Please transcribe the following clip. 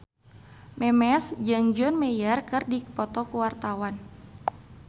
Memes jeung John Mayer keur dipoto ku wartawan